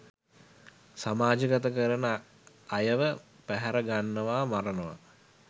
සමාජ ගත කරන අයව පැහැරගන්නවා මරණවා